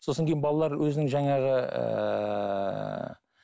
сосын кейін балалар өзінің жаңағы ыыы